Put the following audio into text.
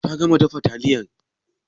Ta gama dafa taliyar?